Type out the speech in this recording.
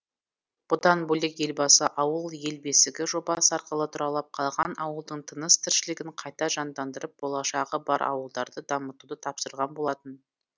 бұдан бөлек елбасы ауыл ел бесігі жобасы арқылы тұралап қалған ауылдың тыныс тіршілігін қайта жандандырып болашағы бар ауылдарды дамытуды тапсырған болатын